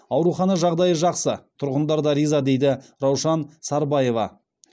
аурухана жағдайы жақсы тұрғындар да риза дейді раушан сарбаева